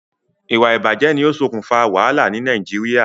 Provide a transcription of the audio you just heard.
Ìwà ìbàjé ni o sokùn fa wàhálà ni Naijiria